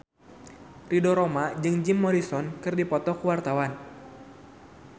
Ridho Roma jeung Jim Morrison keur dipoto ku wartawan